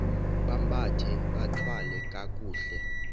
bambathe bathwale kakuhle